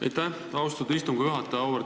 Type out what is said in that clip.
Aitäh, austatud istungi juhataja!